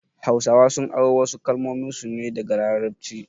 Hausawa sun aro wasu kalmominsu ne daga larabci